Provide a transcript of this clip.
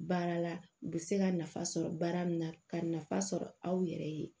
Baara la u bɛ se ka nafa sɔrɔ baara min na ka nafa sɔrɔ aw yɛrɛ ye